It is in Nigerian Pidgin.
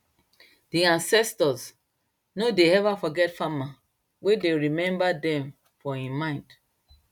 di ancestors no de ever forget farmer wey dey remember dem for im mind